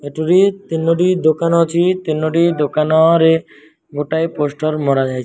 ଏଠୁରି ତିନୋଟି ଦୋକାନ ଅଛି ତିନୋଟି ଦୋକାନରେ ଗୋଟାଏ ପୋଷ୍ଟର ମରା ଯାଇଛି।